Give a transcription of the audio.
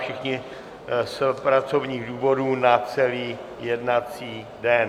Všichni z pracovních důvodů na celý jednací den.